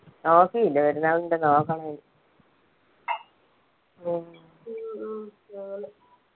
okay പെരുന്നാളിന്റെ നോക്കണേനു ഉം